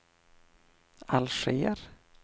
Alger